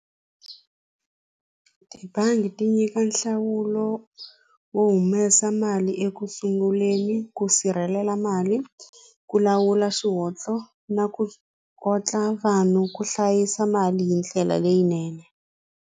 Tibangi ti nyika nhlawulo wo humesa mali ekusunguleni ku sirhelela mali ku lawula na ku vanhu ku hlayisa mali hi ndlela leyinene.